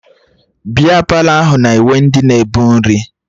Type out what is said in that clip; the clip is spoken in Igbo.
Bịa Palọ ahụ na-ewe ndị na-ebu nri